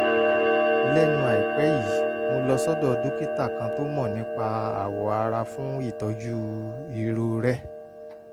lẹ́nu àìpẹ́ yìí mo lọ sọ́dọ̀ dókítà kan tó mọ̀ nípa awọ ara fún ìtọ́jú irorẹ́